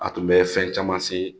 A tun bɛ fɛn caman se